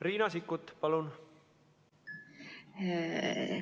Riina Sikkut, palun!